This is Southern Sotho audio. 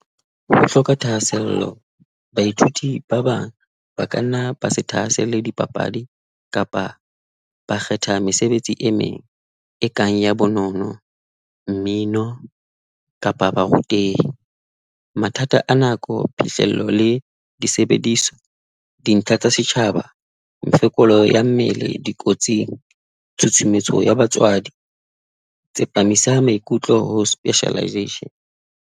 Ho hloka thahasello, baithuti ba bang ba kanna ba se thahaselle dipapadi kapa ba kgetha mesebetsi e meng e kang ya bonono, mmino kapa barutehi, mathata a nako, phihlello le disebediswa, dintlha tsa setjhaba, mefokolo ya mmele dikotsing. Tshutshumetso ya batswadi, tsepamisa maikutlo ho specialization.